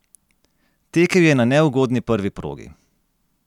Tekel je na neugodni prvi progi.